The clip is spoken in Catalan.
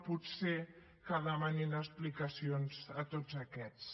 potser que demanin explicacions a tots aquests